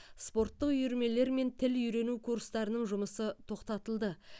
спорттық үйірмелер мен тіл үйрену курстарының жұмысы тоқтатылды